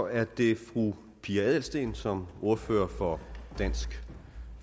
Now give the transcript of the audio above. er det fru pia adelsteen som ordfører for dansk